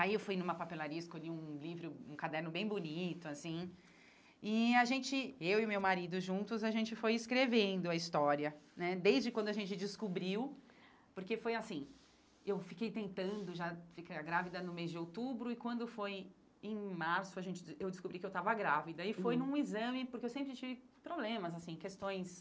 Aí eu fui numa papelaria, escolhi um livro, um caderno bem bonito, assim, e a gente, eu e meu marido juntos, a gente foi escrevendo a história, né, desde quando a gente descobriu, porque foi assim, eu fiquei tentando, já ficar grávida no mês de outubro, e quando foi em março, a gente des eu descobri que eu estava grávida, e foi num exame, porque eu sempre tive problemas, assim, questões...